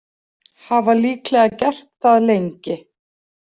Hafa líklega gert það lengi.